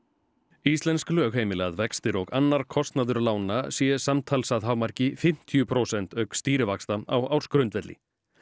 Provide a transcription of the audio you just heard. íslensk lög heimila að vextir og annar kostnaður lána sé samtals að hámarki fimmtíu prósent auk stýrivaxta á ársgrundvelli